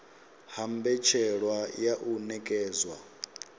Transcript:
ha mbetshelwa ya u nekedzwa